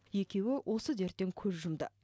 екеуі осы дерттен көз жұмды